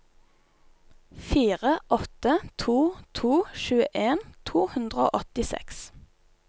fire åtte to to tjueen to hundre og åttiseks